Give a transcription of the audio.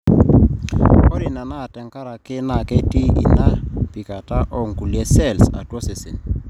ore ina naa tekaraki naa kiti ina pikata oonkulie cells atua osesen